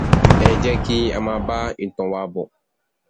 ẹ jẹ kí a máa bá ìtàn wa bọ